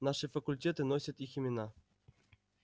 наши факультеты носят их имена